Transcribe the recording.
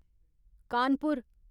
Kanpur